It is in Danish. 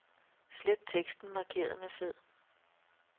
Slet teksten markeret med fed.